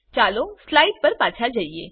ચાલો સ્લાઈડ પર પાછા જઈએ